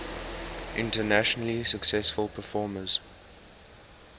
internationally successful performers